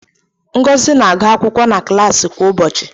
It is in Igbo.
Ngozi na-agu akwụkwọ na klaasị kwa ụbọchị.